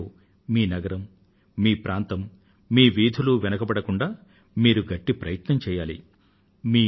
ఈ సర్వేక్షణ లో మీ నగరం మీ ప్రాంతం మీ వీధులు వెనుకబడకుండా మీరు గట్టి ప్రయత్నం చెయ్యాలి